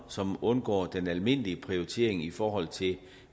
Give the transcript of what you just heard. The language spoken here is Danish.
som undgår den almindelige prioritering i forhold til